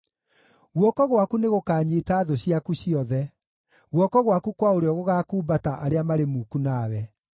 Guoko gwaku nĩgũkanyiita thũ ciaku ciothe; guoko gwaku kwa ũrĩo gũgaakumbata arĩa marĩ muku nawe.